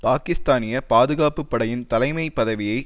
பாக்கிஸ்தானிய பாதுகாப்பு படையின் தலைமை பதவியை